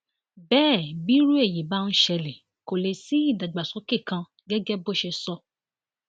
bẹẹ bí irú èyí bá ń ṣẹlẹ kó lè sí ìdàgbàsókè kan gẹgẹ bó ṣe sọ